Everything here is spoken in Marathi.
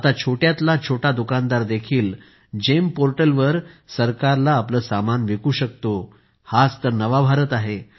आता छोट्यातला छोटा दुकानदार देखील GeMपोर्टलवर सरकारला आपले समान विकू शकतो हाच तर नवा भारत आहे